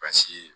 Basi ye